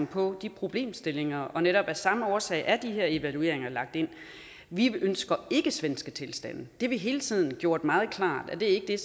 på de problemstillinger og netop af samme årsag er de her evalueringer lagt ind vi ønsker ikke svenske tilstande det har vi hele tiden gjort meget klart ikke er